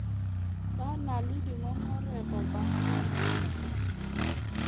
ba na le dingongorego ba